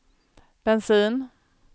bensin